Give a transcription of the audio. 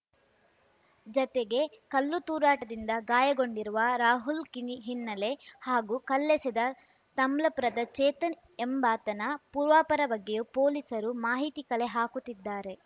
ಜತೆಗೆ ಕಲ್ಲು ತೂರಾಟದಿಂದ ಗಾಯಗೊಂಡಿರುವ ರಾಹುಲ್‌ ಕಿಣಿ ಹಿನ್ನೆಲೆ ಹಾಗೂ ಕಲ್ಲೆಸೆದ ತಮ್ಲಪುರದ ಚೇತನ್‌ ಎಂಬಾತನ ಪೂರ್ವಾಪರ ಬಗ್ಗೆಯೂ ಪೊಲೀಸರು ಮಾಹಿತಿ ಕಲೆ ಹಾಕುತ್ತಿದ್ದಾರೆ